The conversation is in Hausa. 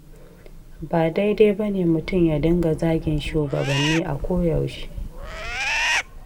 Ba daidai ba ne, mutum ya dinga zagin shugabanni a koyaushe.